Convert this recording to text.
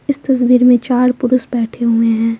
इस तस्वीर में चार पुरुष बैठे हुए हैं।